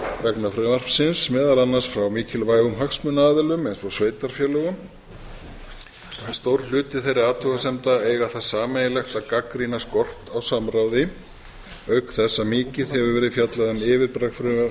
vegna frumvarpsins meðal annars frá mikilvægum hagsmunaaðilum eins og sveitarfélögum en stór hluti þeirra athugasemda eiga það sameiginlegt að gagnrýna skort á samráði auk þess að mikið hefur verið fjallað um yfirbragð frumvarps þess